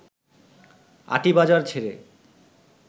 আটিবাজার ছেড়ে